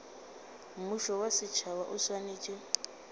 mmušo wa setšhaba o swanetše